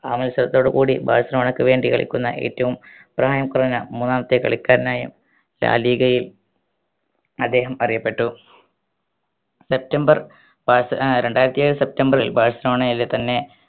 ആ മത്സരത്തോടു കൂടി ബാഴ്‌സലോണക്ക് വേണ്ടി കളിക്കുന്ന ഏറ്റവും പ്രായം കുറഞ്ഞ മൂന്നാമത്തെ കളിക്കാരനായും ഡാലിഗയിൽ അദ്ദേഹം അറിയപ്പെട്ടു സെപ്റ്റംബർ ബാഴ്സ് രണ്ടായിരത്തേഴ് സെപ്റ്റംബർ ബാഴ്‌സലോണയിലെ തന്നെ